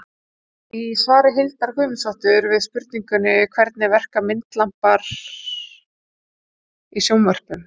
í svari hildar guðmundsdóttur við spurningunni hvernig verka myndlampar í sjónvörpum